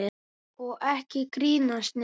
Og ekki grínast neitt!